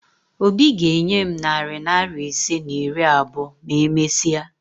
Obi ga-enye m narị naịra ise na iri abụọ ma e mesia